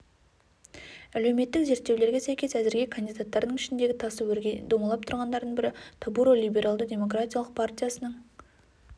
әлеуметтік зерттеулерге сәйкес әзірге кандидаттардың ішіндегі тасы өрге домалап тұрғандардың бірі тобуро либералды демократиялық партиясының